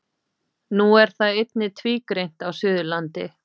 Nú er það einnig tvígreint á Suðurlandi.